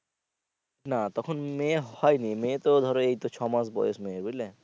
না তখন মেয়ে হয়নি, মেয়ে তো ধরো এইতো ছয়মাস বয়স মেয়ের বুঝলে।